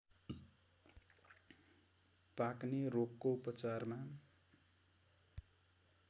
पाक्ने रोगको उपचारमा